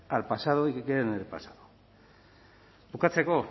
al pasado y que queden en el pasado bukatzeko